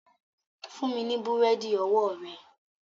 Fún mi ní búrẹ́dì ọwọ́ rẹ